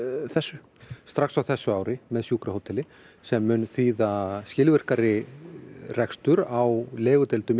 þessu strax á þessu ári með sjúkrahóteli sem mun þýða skilvirkari rekstur á legudeildum